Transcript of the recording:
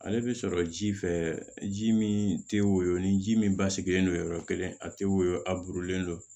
Ale bɛ sɔrɔ ji fɛ ji min tɛ woyo ni ji min basigilen don yɔrɔ kelen a tɛ woyo a burulen don